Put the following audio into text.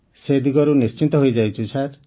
ସେ ଦିଗରୁ ନିଶ୍ଚିନ୍ତ ହୋଇଯାଇଛୁ ସାର୍